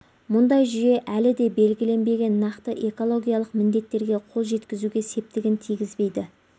мұндай жүйе әлі де белгіленбеген нақты экологиялық міндеттерге қол жеткізуге септігін тигізбейді